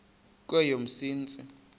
kweyomsintsi